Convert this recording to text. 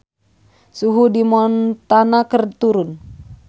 Suhu di Montana keur turun